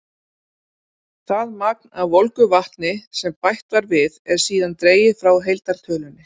Það magn af volgu vatni sem bætt var við, er síðan dregið frá heildartölunni.